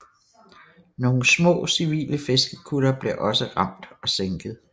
Nogle små civile fiskekuttere blev også ramt og sænket